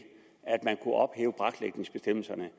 braklægningsbestemmelserne